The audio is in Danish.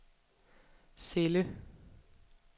celle